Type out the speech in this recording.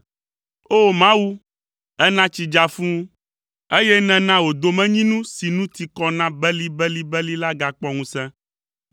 O! Mawu, èna tsi dza fũu, eye nèna wò domenyinu si nu ti kɔ na belibelibeli la gakpɔ ŋusẽ.